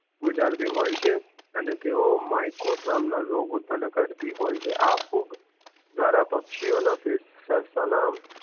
ગુજારતી હોય છે અને તેઓ મ્યકોસ નામ ના રોગ ઉત્પન કરર્તિ હોય છે આ ફૂગ ધ્વારા પક્ષીઓ ના